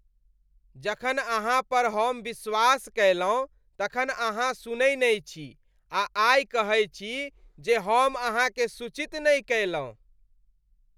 जखन अहाँ पर हम विश्वास कयलहुँ तखन अहाँ सुनै नै छी आ आइ कहै छी जे हम अहाँकेँ सूचित नहि कयलहुँ।